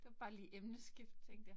Det var bare lige emneskift tænkte jeg